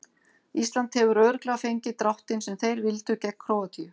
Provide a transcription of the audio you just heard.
Ísland hefur örugglega fengið dráttinn sem þeir vildu gegn Króatíu.